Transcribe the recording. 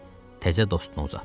Təzə dostuna uzatdı.